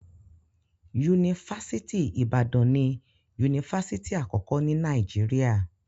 Yunifásitì Ìbàdàn ni yunifásitì àkọ́kọ́ ní Nàìjíríà.